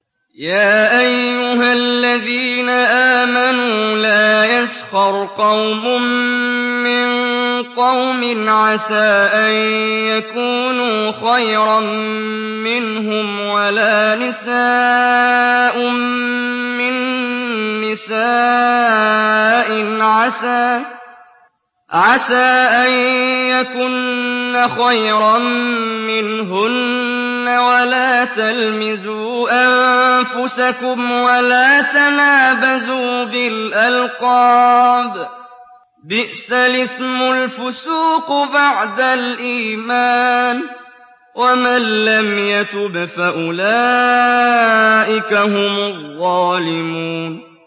يَا أَيُّهَا الَّذِينَ آمَنُوا لَا يَسْخَرْ قَوْمٌ مِّن قَوْمٍ عَسَىٰ أَن يَكُونُوا خَيْرًا مِّنْهُمْ وَلَا نِسَاءٌ مِّن نِّسَاءٍ عَسَىٰ أَن يَكُنَّ خَيْرًا مِّنْهُنَّ ۖ وَلَا تَلْمِزُوا أَنفُسَكُمْ وَلَا تَنَابَزُوا بِالْأَلْقَابِ ۖ بِئْسَ الِاسْمُ الْفُسُوقُ بَعْدَ الْإِيمَانِ ۚ وَمَن لَّمْ يَتُبْ فَأُولَٰئِكَ هُمُ الظَّالِمُونَ